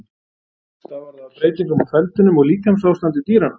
Stafar það af breytingum á feldinum og líkamsástandi dýranna.